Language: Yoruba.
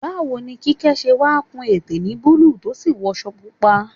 Báwo ni Kíkẹ́ ṣe wá kun ète ní búlúù tó sì wọṣọ pupa?